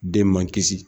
Den man kisi